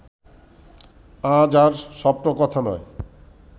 আজ আর স্বপ্নকথা নয়